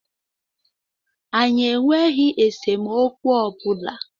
Anyi enweghi esemokwu ọbụla